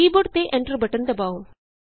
ਕੀ board ਤੇ Enterਬਟਨ ਦਬਾਉ